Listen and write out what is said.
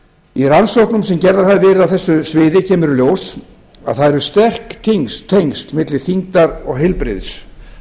í rannsóknum sem gerðar hafa verið á þessu sviði kemur í ljós að það eru sterk tengsl milli þyngdar og heilbrigðis